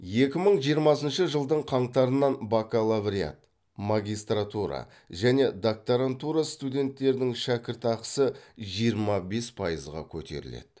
екі мың жиырмасыншы жылдың қаңтарынан бакалавриат магистратура және докторантура студенттерінің шәкіртақысын жиырма бес пайызға көтеріледі